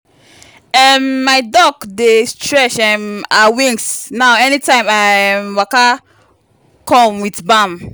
um my duck dey stretch um her wings now anytime i um waka come with balm.